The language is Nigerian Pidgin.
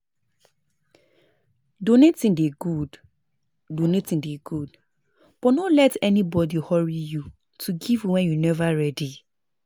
No give things wey no good good um or things wey no dey useful